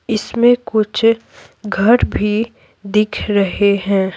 इसमें कुछ घर भी दिख रहे हैं।